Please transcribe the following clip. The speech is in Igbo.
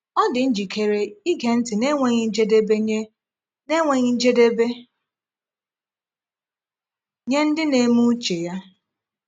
Ọ dị njikere ige ntị n’enweghị njedebe nye n’enweghị njedebe nye ndị na-eme uche Ya.